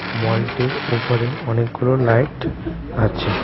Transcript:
মলটির ওপরে অনেকগুলো লাইট আছে .